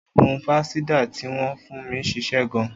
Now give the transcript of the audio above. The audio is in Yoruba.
Oògùn fansidar tí wọn fún mí ṣiṣẹ́ gan